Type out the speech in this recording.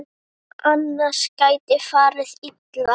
Annars geti farið illa.